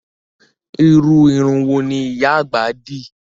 Irú irun wo ni ìyá àgbà dì?